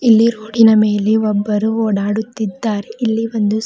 ಇಲ್ಲಿ ರೋಡಿನ ಮೇಲೆ ಒಬ್ಬರು ಓಡಾಡುತ್ತಿದ್ದಾರೆ ಇಲ್ಲಿ ಒಂದು--